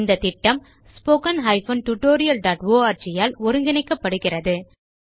இந்த திட்டம் ஸ்போக்கன் tutorialஆர்க் ஆல் ஒருங்கிணைக்கப்படுகிறது